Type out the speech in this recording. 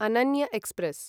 Ananya express